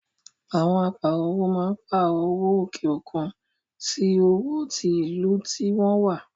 Àwọn Áà pààrọ̀ owó máa ń pààrọ̀ owó òkè òkun sì owó tí ìlú tí wọn wá.